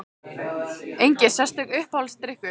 Engin sérstök Uppáhaldsdrykkur?